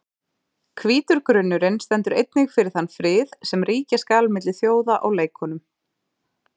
Hvítur grunnurinn stendur einnig fyrir þann frið sem ríkja skal milli þjóða á leikunum.